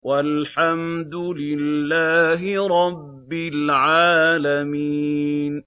وَالْحَمْدُ لِلَّهِ رَبِّ الْعَالَمِينَ